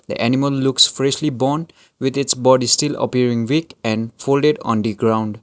animal looks freshly bond with it's body still appearing weak and folded on the ground.